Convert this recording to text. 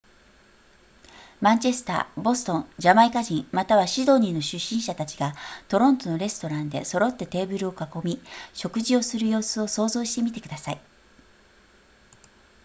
マンチェスターボストンジャマイカ人またシドニーの出身者たちがトロントのレストランで揃ってテーブルを囲み食事をする様子を想像してみてください